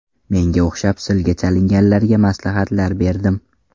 Menga o‘xshab silga chalinganlarga maslahatlar berdim.